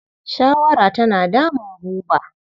Shawara tana damun Buba.